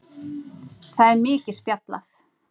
Það er mikið spjallað.